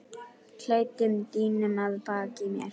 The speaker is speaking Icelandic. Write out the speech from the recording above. klæddum dýnunum að baki mér.